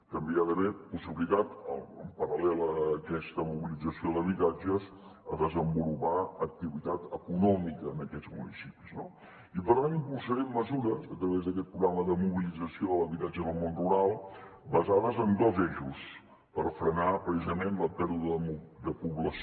també hi ha d’haver possibilitat en paral·lel a aquesta mobilització d’habitatges a desenvolupar activitat econòmica en aquests municipis no i per tant impulsarem mesures a través d’aquest programa de mobilització de l’habitatge en el món rural basades en dos eixos per frenar precisament la pèrdua de població